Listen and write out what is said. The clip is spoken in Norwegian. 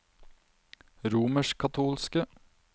romerskkatolske